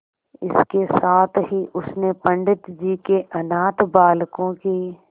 इसके साथ ही उसने पंडित जी के अनाथ बालकों की